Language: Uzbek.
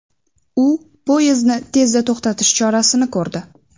U poyezdni tezda to‘xtatish chorasini ko‘rdi.